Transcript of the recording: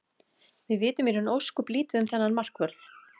Við vitum í raun ósköp lítið um þennan markvörð.